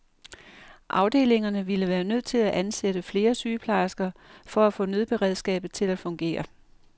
Afdelingerne ville være nødt til at ansætte flere sygeplejersker for at få nødberedskabet til at fungere.